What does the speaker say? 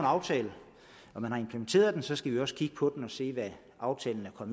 aftale når man har implementeret den så skal vi også kigge på den og se hvad aftalen er